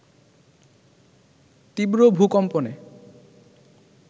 তীব্র ভূকম্পনে